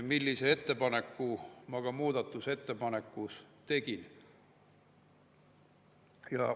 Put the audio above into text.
Sellise ettepaneku ma ka muudatusettepanekus tegin.